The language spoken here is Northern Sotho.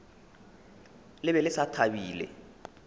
le be le sa thabile